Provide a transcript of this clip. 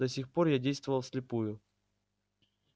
до сих пор я действовал вслепую